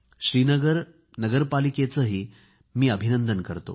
श्रीनगर नगरपालिकेचेही मी अभिनंदन करतो